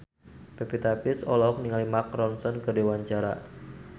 Pevita Pearce olohok ningali Mark Ronson keur diwawancara